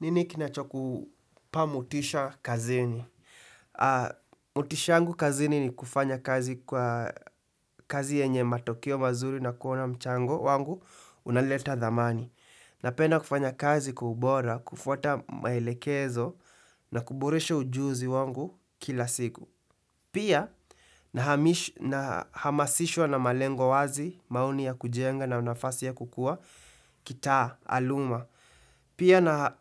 Nini kinachoku pa motisha kazini. Motisha yangu kazini ni kufanya kazi kwa kazi yenye matoke mazuri na kuona mchango wangu unaleta dhamani. Napenda kufanya kazi kwa ubora, kufuata maelekezo na kuboresha ujuzi wangu kila siku. Pia na hami na hamasishwa na malengo wazi, mauni ya kujenga na unafasi ya kukua, kitaa, aluma. Pia na